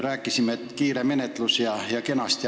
Rääkisime, et tuleb kiire menetlus ja kõik on kena.